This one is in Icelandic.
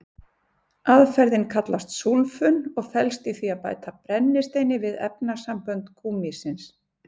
Aðferðin kallast súlfun og felst í því að bæta brennisteini við efnasambönd gúmmísins.